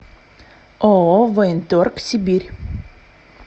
ооо военторг сибирь